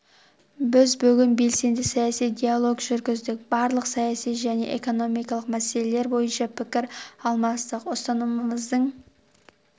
біз бүгін белсенді саяси диалог жүргіздік барлық саяси және экономикалық мәселелер бойынша пікір алмастық ұстанымымыздың